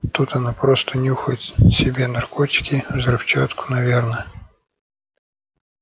тут она просто нюхает себе наркотики взрывчатку наверное